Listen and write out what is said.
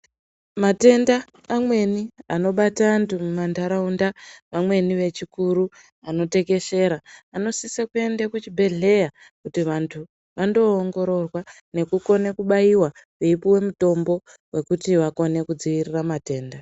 Matenda amweni anobata andu mumandaraunda vamweni vechikuru anotekeshera anosise kuende kuchibhedhleya kuti vandu vano ongororwa nekukone kubayirwe veyipuwe mutombo wekuti vakone kudzivirira matenda.